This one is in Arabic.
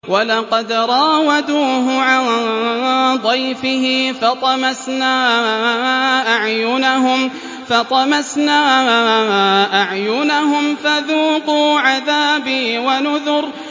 وَلَقَدْ رَاوَدُوهُ عَن ضَيْفِهِ فَطَمَسْنَا أَعْيُنَهُمْ فَذُوقُوا عَذَابِي وَنُذُرِ